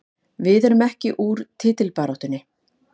Við erum ekki úr titilbaráttunni